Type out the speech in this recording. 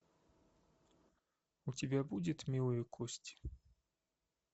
у тебя будет милые кости